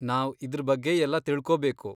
ನಾವ್ ಇದ್ರ್ ಬಗ್ಗೆಯೆಲ್ಲ ತಿಳ್ಕೋಬೇಕು.